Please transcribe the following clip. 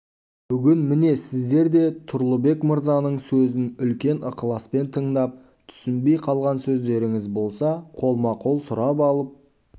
бүгін міне сіздер де тұрлыбек мырзаның сөзін үлкен ықыласпен тыңдап түсінбей қалған сөздеріңіз болса қолма-қол сұрап алып